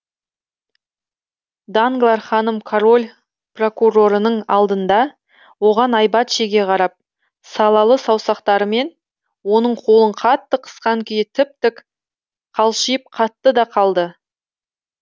данглар ханым король прокурорының алдында оған айбат шеге қарап салалы саусақтарымен оның қолын қатты қысқан күйі тіп тік қалшиып қатты да қалды